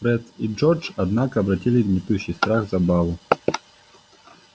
фред и джордж однако обратили гнетущий страх в забаву